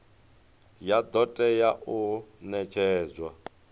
ya do tea u netshedzwa